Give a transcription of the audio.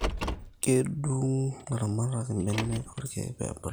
Kedung ilaramatak ibenek orkeek pebulu